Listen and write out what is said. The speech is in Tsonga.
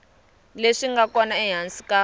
leswi nga kona ehansi ka